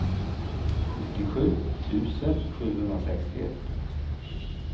sjuttiosju tusen sjuhundrasextioett